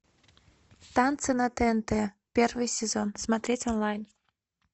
танцы на тнт первый сезон смотреть онлайн